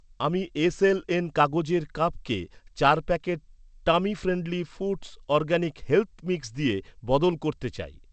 আমি এস.এল.এন কাগজের কাপকে চার প্যাকেট টামিফ্রেন্ডলি ফুড্স অরগ্যানিক হেলথ্ মিক্স দিয়ে বদল করতে চাই।